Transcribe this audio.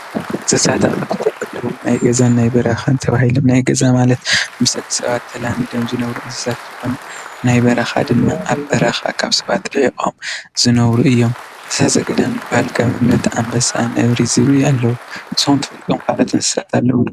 አንስሳታት ናይ ገዛን ናይ በረካን ተባሂሉ ናይ ገዛ ማለት ምስ ደቂ ሰባት ተላሚዶም ዝነብሩ እንስሳታት እንትኮኑ ናይ በረካ ድማ ኣብ በረኻ ካብ ሰባት ሪሕቆም ዝነብሩ እዬም ። እንስሳ ዘገደም ዝበሃሉ ከምኒ ኣንበሳ, ነብሪ ዝብኢ ኣለው ። ንስኩም ትፈልጦዎም ካልኦት እንስሳ ኣለው ደ?